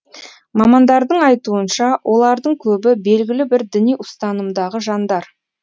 мамандардың айтуынша олардың көбі белгілі бір діни ұстанымдағы жандар